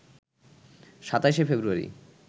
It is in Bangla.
২৭শে ফেব্রুয়ারি